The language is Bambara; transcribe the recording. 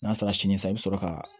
N'a sera sini i bɛ sɔrɔ ka